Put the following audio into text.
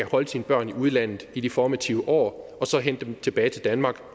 holde sine børn i udlandet i de formative år og så hente dem tilbage til danmark